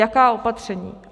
Jaká opatření?